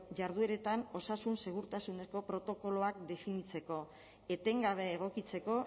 jardueretan osasun segurtasuneko protokoloak definitzeko etengabe egokitzeko